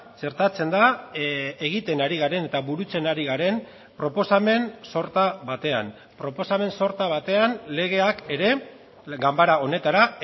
txertatzen da egiten ari garen eta burutzen ari garen proposamen sorta batean proposamen sorta batean legeak ere ganbara honetara